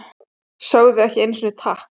Sögðu ekki einusinni takk!